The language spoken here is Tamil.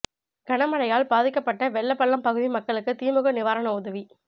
கன மழையால் பாதிக்கப்பட்ட வெள்ளப்பள்ளம் பகுதி மக்களுக்கு திமுக நிவாரண உதவி